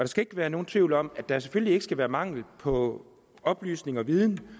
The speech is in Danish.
skal ikke være nogen tvivl om at der selvfølgelig ikke skal være mangel på oplysning og viden